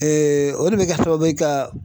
o de bɛ kɛ sababu ye ka